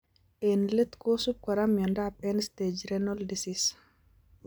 Eng' let kosub kora miondop End stage renal disease